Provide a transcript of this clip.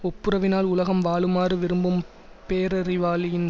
ஒப்புரவினால் உலகம் வாழுமாறு விரும்பும் பேரறிவாளியின்